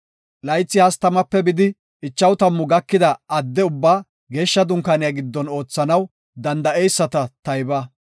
Laythi 30-50 gakida adde ubbaa Geeshsha Dunkaaniya giddon oothanaw danda7eyisata tayba.